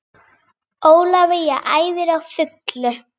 Ólafía æfir á fullu